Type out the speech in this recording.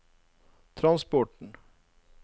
transporten